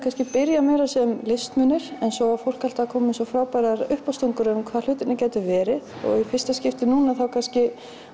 byrjað meira sem listmunir en svo var fólk alltaf að koma með svo frábærar uppástungur um það hvað hlutirnir gætu verið og í fyrsta skipti núna þá kannski